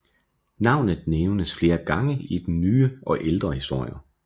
Navnet nævnes flere gange i den nyere og ældre historie